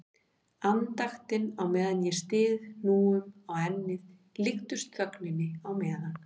Andaktin á meðan ég styð hnúum á ennið líkust þögninni á meðan